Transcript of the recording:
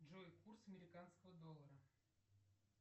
джой курс американского доллара